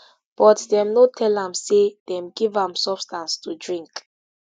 but dem no tell am say dem give am substance to drink